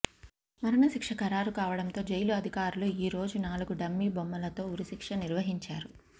మరణశిక్ష ఖరారు కావడంతో జైలు అధికారులు ఈ రోజు నాలుగు డమ్మీ బొమ్మలతో ఉరిశిక్ష నిర్వహించారు